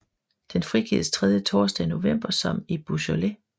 Den frigives tredje torsdag i november som i Beaujolais